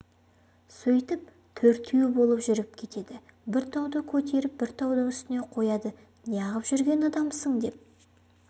сөйтіп төртеу болып жүріп кетеді бір тауды көтеріп бір таудың үстіне қояды неғып жүрген адамсың деп